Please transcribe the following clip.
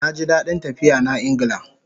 Naji dadin tafiya na Ingla